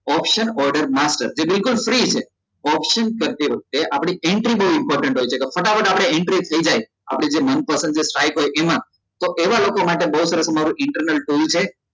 Option order master જે બિલકુલ free છે option કરતી વખતે આપડી entry બઉ important હોય છે તો ફટાફટ આપડે entries થઇ જાય આપડે જે મનપસંદ strick હોય જે એમાં તો એવા લોકો માટે બઉ સરસ અમારું internal tool છે